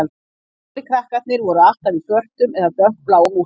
Eldri krakkarnir voru alltaf í svörtum eða dökkbláum úlpum